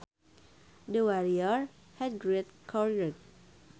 The warrior had great courage